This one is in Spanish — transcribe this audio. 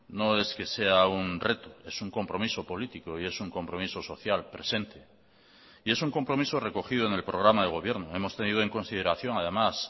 no es que sea un reto es un compromiso político y es un compromiso social presente y es un compromiso recogido en el programa de gobierno hemos tenido en consideración además